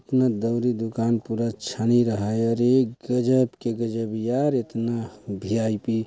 इतना दउरी दुकान पूरा छानी रहाय अरे गजब के गजब यार इतना भी वी. आई. पी. --